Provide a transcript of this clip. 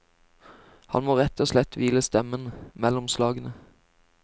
Han må rett og slett hvile stemmen mellom slagene.